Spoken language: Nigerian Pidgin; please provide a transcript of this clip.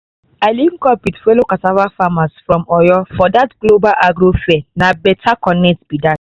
i link up with fellow cassava farmers from oyo for that global agro fair na better connect be that.